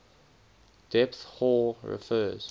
depth hoar refers